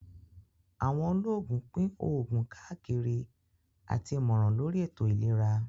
Àwọn olóògùn pín òògùn káàkiri àti ìmọ̀ràn lóri ètò ìlera